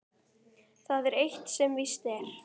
Það er eitt sem víst er.